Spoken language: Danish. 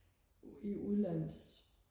i udlandet